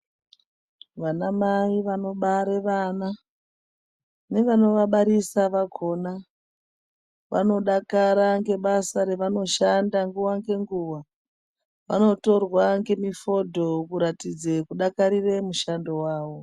Vanamai vanobare vana nevanovabarisa vakona vanodakara ngebasa revanoshanda nguwa nenguwa vanotorwa ngemifodho kuratidze kudakarire mushando wavo.